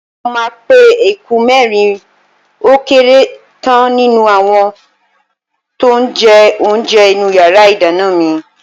Mo máa pe eku mẹ́rin ó kéré tán nínú àwọn tó ń jẹ oúnjẹ inú yàrá ìdáná mi.